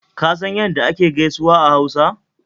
Ka san ya da ake gaisuwa a Hausa?